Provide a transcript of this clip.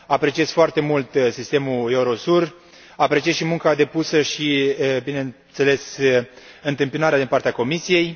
Apreciez foarte mult sistemul EUROSUR, apreciez și munca depusă și, bineînțeles, întâmpinarea din partea Comisiei.